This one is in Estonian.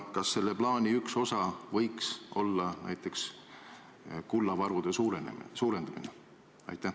Kas selle plaani üks osa võiks olla näiteks kullavarude suurendamine?